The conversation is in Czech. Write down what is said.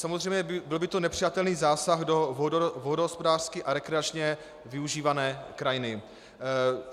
Samozřejmě byl by to nepřijatelný zásah do vodohospodářsky a rekreačně využívané krajiny.